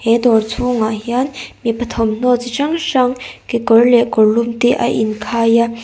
he dawr chhung ah hian mipa thawmhnaw chi hrang hrang kekawr leh kawrlum te a inkhai a.